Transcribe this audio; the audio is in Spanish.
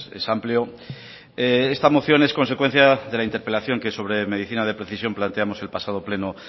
es amplio esta moción es consecuencia de la interpelación que sobre medicina de precisión planteamos el pasado pleno